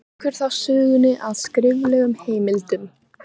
Víkur þá sögunni að skriflegum heimildum.